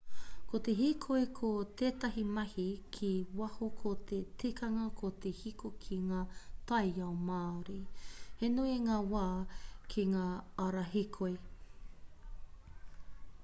ko te hīkoi ko tētahi mahi ki waho ko te tikanga ko te hīkoi ki ngā taiao māori he nui ngā wā ki ngā ara hīkoi